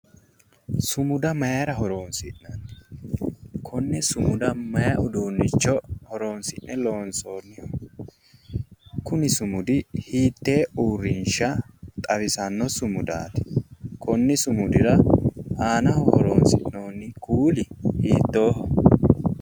Sumada mayra horonsi'nanni? konne sumuda may uduunnicho horonsi'ne loonsonniho? Kuni sumudi hiitte uurrinsha xawissanno sumudaati? konni sumududira aanaho horonsi'noonni kuuli hiittoho?